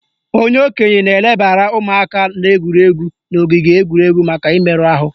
Onye okenye na-elebara ụmụaka na-egwuri egwu n'ogige egwuregwu maka imerụ ahụ